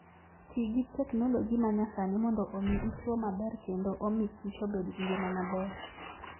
Ti gi teknoloji ma nyasani mondo omi ichwo maber kendo omi kich obed gi ngima maber.